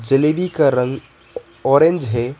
जलेबी का रंग ऑरेंज है।